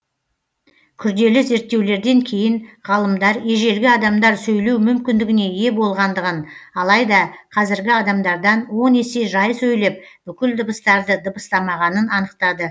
күрделі зерттеулерден кейін ғалымдар ежелгі адамдар сөйлеу мүмкіндігіне ие болғандығын алайда қазіргі адамдардан он есе жай сөйлеп бүкіл дыбыстарды дыбыстамағанын анықтады